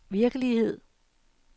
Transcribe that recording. virkelighed